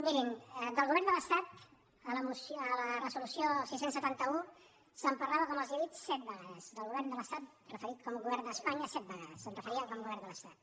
mirin del govern de l’estat a la reso·lució sis cents i setanta un se’n parlava com els he dit set vegades del govern de l’estat referit com a govern d’espanya set vegades s’hi referia com a govern de l’estat